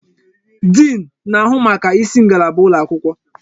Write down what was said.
Diin na-ahụ maka isi ngalaba ụlọ akwụkwọ.